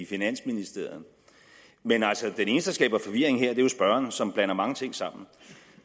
i finansministeriet men altså den eneste der skaber forvirring her er jo spørgeren som blander mange ting sammen